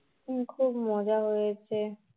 খুব মজা হয়েছে